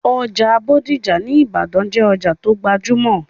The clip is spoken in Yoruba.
Ọjà bódìjà ní ìbàdàn jẹ́ òjà tó gbajúmọ̀